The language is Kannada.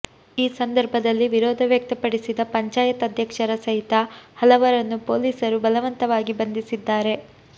ಈ ಸಂದರ್ಭದಲ್ಲಿ ವಿರೋಧ ವ್ಯಕ್ತಪಡಿಸಿದ ಪಂಚಾಯತ್ ಅಧ್ಯಕ್ಷರ ಸಹಿತ ಹಲವರನ್ನು ಪೊಲೀಸರು ಬಲವಂತವಾಗಿ ಬಂಧಿಸಿದ್ದಾರೆ